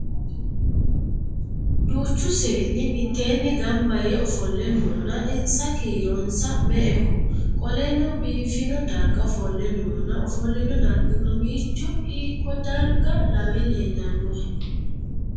Duuchu seenni miteenni ganbayee ofole noonna insa kiironsa me"eho? Qoleno biifino darga ofole noonna ofolino dargi mamiicho hiikodarga lawe leellanohe?